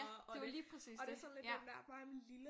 Ja det var lige præcis det ja